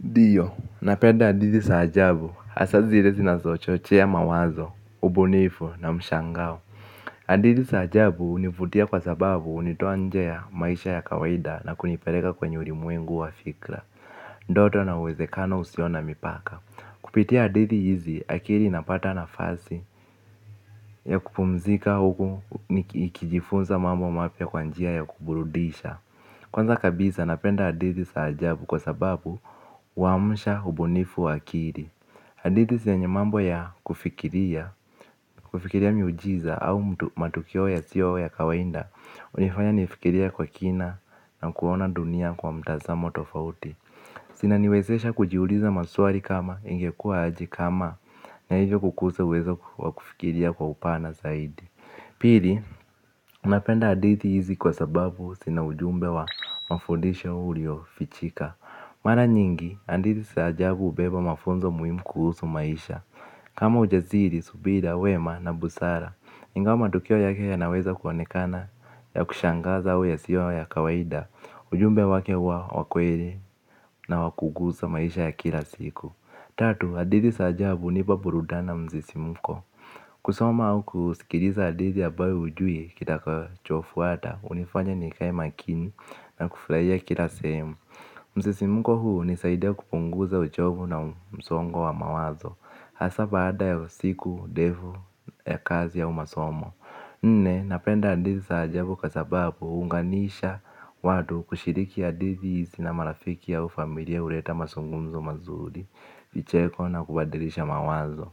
Diyo, napenda adithi saajabu, asa zirezi na sochochea mawazo, ubunifu na mshangao. Adithi saajabu univutia kwa sababu unitoanje ya maisha ya kawaida na kuniperega kwenye urimuengu wa fikla. Ndoto na uwezekano usiona mipaka. Kupitia adithi hizi akiri napata na fasi ya kupumzika huku nikijifunza mambo mapia kwanjia ya kuburudisha. Kwanza kabisa napenda hadithi saajabu kwa sababu huamusha hubunifu waakiri. Hadithi zenye mambo ya kufikiria, kufikiria miujiza au mtu matukio ya siyo ya kawainda. Unifanya nifikirie kwa kina na kuona dunia kwa mtazamo tofauti. Sina niwezesha kujiuliza masuari kama ingekua haji kama na hivyo kukuse uwezo wa kufikiria kwa upana zaidi. Pili, napenda hadithi hizi kwa sababu sina ujumbe wa mafondisha ulio fichika. Mara nyingi, hadithi saajabu ubeba mafunzo muhimu kuhusu maisha kama ujasiri subira wema na busara ingao madokeo yake ya naweza kuwonekana ya kushangaza au yasio ya kawaida. Ujumbe wake uwa wakwere na wakugusa maisha ya kila siku. Tatu, hadithi za ajabu hunipa burudani na msisimuko. Kusoma au kusikiliza hadithi ya ambayo ujui kitakachofuata unifanya nikae makini na kufurahia kila sehemu. Msisimuko huu unisaidia kupunguza uchovu na msongo wa mawazo. Hasa baada ya usiku ndevu ya kazi ya au masomo. Nne, napenda adithi saajabu kqa sababu uunganisha watu kushiriki hadithi na marafiki au familia uleta mazungumzo mazuri. Vicheko na kubadilisha mawazo.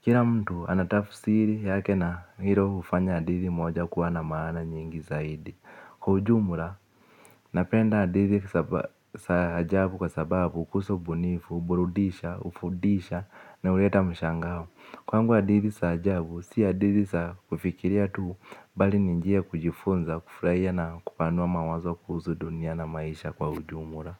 Kila mtu anatafsiri yake na hilo hufanya hadithi moja kuwa na maana nyingi zaidi. Kwa ujumla, napenda hadithi za ajabu kwa sababu kuhusu ubunifu, uburudisha, ufudisha na uleta mshangao. Kwangu hadithi za ajabu, si hadithi za kufikiria tu bali ni njia ya kujifunza, kufutahia na kupanua mawazo kuhusu dunia na maisha kwa ujumla.